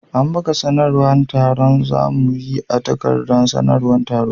An buga sanarwar taron da za mu yi a takardar sanarwar taro.